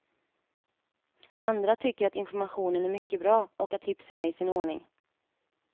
Andra tycker att informationen är mycket bra och att tipsen är i sin ordning.